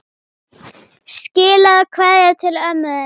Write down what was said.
Skilaðu kveðju til ömmu þinnar.